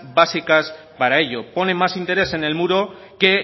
básicas para ello ponen más interés en el muro que